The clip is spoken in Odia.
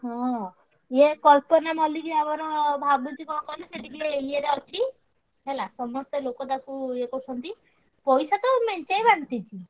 ହଁ ଏ କଳ୍ପନା ମଲ୍ଲିକ ଭାବୁଛି ଆମର ସିଏ ଟିକେ ୟେ ରେ ଅଛି ହେଲା ସମସ୍ତେ ଲୋକ ତାକୁ ୟେ କରୁଛନ୍ତି ପଇସା ତ ମେଞ୍ଚାଏ ବାଣ୍ଟିଚି।